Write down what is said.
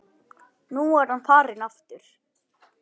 Nú er hann farinn aftur